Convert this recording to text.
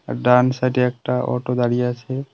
আর ডান সাইডে একটা অটো দাঁড়িয়ে আছে।